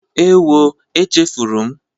Ewo! Echefuru m